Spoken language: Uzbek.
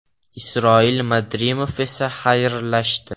Isroil Madrimov esa xayrlashdi.